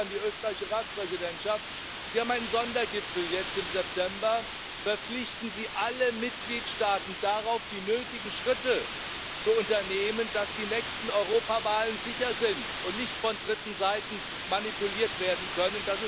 Ich appelliere an die österreichische Ratspräsidentschaft. Sie haben einen Sondergipfel jetzt im September Verpflichten sie alle Mitgliedstaaten darauf, die nötigen Schritte zu unternehmen, dass die nächste Europawahl sicher ist und nicht von dritten Seiten manipuliert werden kann.